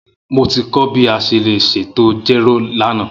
Mo ti kọ bi a ṣe le ṣetan jero lana.